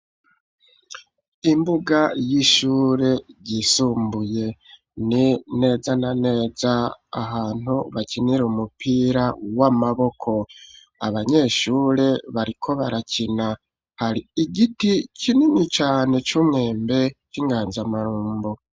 Imbuga y'ishure yisumbuye ni neza na neza ahantu bakinira umupira w'amaboko. Abanyeshure bariko barakina hari igiti kinini cane c'umwembe c'inganzamarombo.